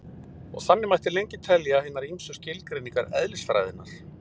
Og þannig mætti lengi telja hinar ýmsu skilgreiningar eðlisfræðinnar.